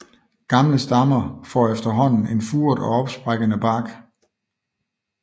Gamle stammer får efterhånden en furet og opsprækkende bark